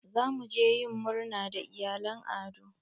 Za mu je yin murna da iyalan Ado.